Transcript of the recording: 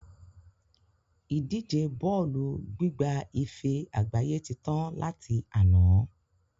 Ìdíje bọ́ọ́lù gbigba ife àgbáyé tí tán láti àná